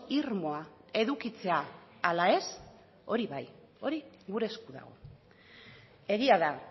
irmoa edukitzea ala ez hori bai hori gure esku dago egia da